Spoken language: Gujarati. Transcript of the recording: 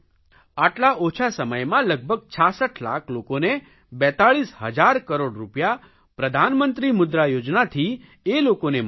આટલા ઓછા સમયમાં લગભગ 66 લાખ લોકોને 42 હજાર કરોડ રૂપિયા પ્રધાનમંત્રી મુદ્રા યોજનાથી એ લોકોને મળ્યા છે